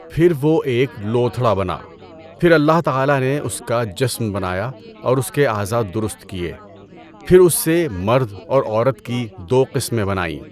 پھر وہ ایک لوتھڑا بنا، پھر اللہ تعالی نے اس کا جسم بنایا اور اس کے اعضاء درست کیے، پھر اس سے مرد اور عورت کی دو قسمیں بنائیں۔